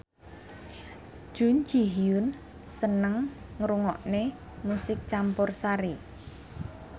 Jun Ji Hyun seneng ngrungokne musik campursari